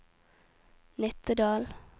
Nittedal